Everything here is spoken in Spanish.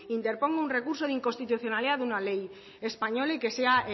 interponga un recurso de inconstitucionalidad de una ley española y que sea